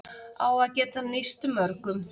Á að geta nýst mörgum